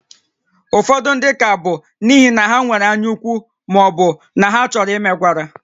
Ụfọdụ ndị ka bụ n'ihi na ha nwere anyaukwu ma ọ bụ na ha chọrọ imegwara